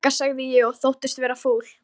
Ég þakka sagði ég og þóttist vera fúl.